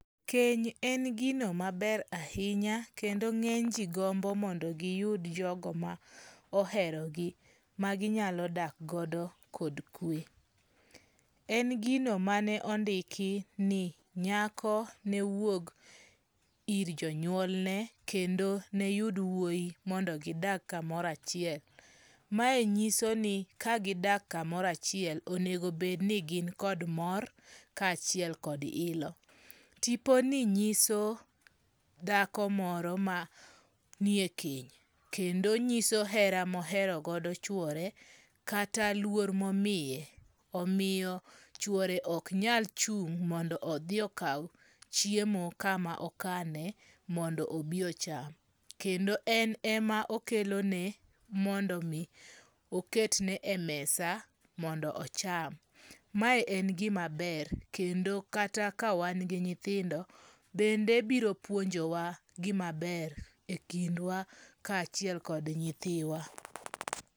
Keny en gino maber ahinya kendo ng'eny ji gombo mondo giyud jogo moherogi ma ginyalo dak godo kod kwe. En gino mane ondiki ni nyako ne wuog ir jonyuolne kendo noyud wuoi mondo gidak kamoro achiel. Mae nyiso ni ka gidak kamoro achiel onego obed ni gin kod mor ka achiel kod ilo. Tipo ni nyiso dhako moro ma nie keny. Kendo nyiso hera mohero godo chuore kata luor momiye. Omiyo chuore ok nyal chung' mondo odhi okaw chiemo kama okane mondo obi ocham. Kendo en ema okelo ne mondo mi oket ne e mesa mondo ocham. Mae en gima ber kendo kata ka wan gi nyithindo bende biro puonjowa gima ber e kindwa ka achiel kod nyithiwa.